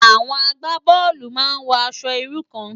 Awòn àgbábòlú má n wò ãṣò irú kàn